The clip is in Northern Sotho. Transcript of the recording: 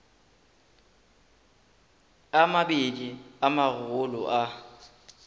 a mabedi a magolo a